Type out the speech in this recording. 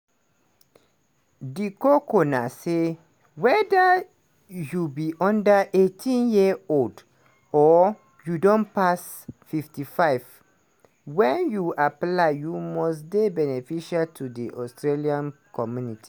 di koko na say weda you be under 18-year-old or you don pass 55 wen you apply you must dey beneficial to di australian community.